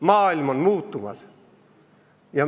Maailm on muutumas.